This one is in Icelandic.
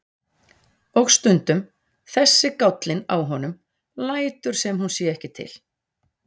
Og stundum þessi gállinn á honum, lætur sem hún sé ekki til.